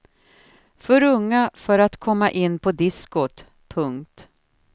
För unga för att komma in på diskot. punkt